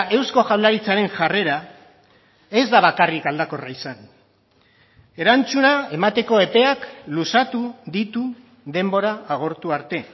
eusko jaurlaritzaren jarrera ez da bakarrik aldakorra izan erantzuna emateko epeak luzatu ditu denbora agortu arte